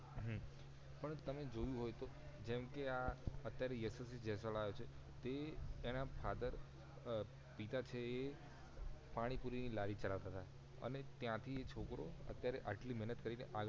હઃ પણ તમે જોયું હોય તો જેમકે આ અત્યારે યશવંત જયસ્વાલ આયો છે તે એના father અ પિતા છે એ પાણી પુરી ની લારી ચલાવતાંતા અને ત્યાંથી એ છોકરો અતિયારે આટલી મહેનત કરી ને આગળ